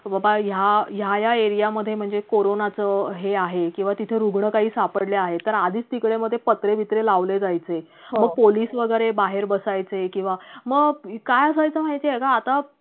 बाबा या, या या area मधे म्हणजे corona च हे आहे किंवा तिथे रुग्ण काही सापडले आहेत तर आधीच तिकडे मग ते पत्रे बित्रे लावले जायचे मग पोलीस वैगरे बाहेर बसायचे किंवा मग काय होयच माहितीये का आता